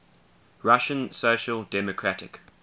russian social democratic